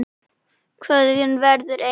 Kveðjan verður eins.